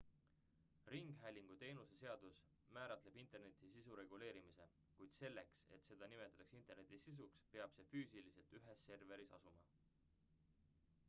ringhäälingu teenuste seadus määratleb interneti sisu reguleerimise kuid selleks et seda peetaks interneti sisuks peab see füüsiliselt ühes serveris asuma